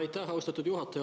Aitäh, austatud juhataja!